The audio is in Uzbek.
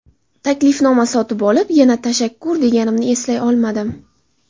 Taklifnoma sotib olib, yana tashakkur deganimni eslay olmadim.